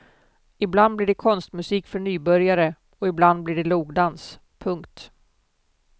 Ibland blir det konstmusik för nybörjare och ibland blir det logdans. punkt